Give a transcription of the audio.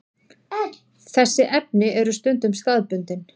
Þessi efni eru stundum staðbundin.